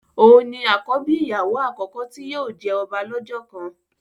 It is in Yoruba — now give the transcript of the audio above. òún ni àkọ́bí ìyàwó àkọ́kọ́ tí yóò jẹ ọba lọ́jọ́ kan